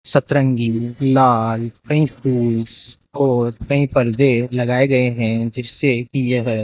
सतरंगी लाल पिंक फूल्स और कई पर्दे लगाए गए हैं जिससे की यह --